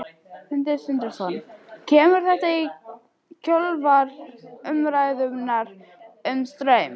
Sindri Sindrason: Kemur þetta í kjölfar umræðunnar um Straum?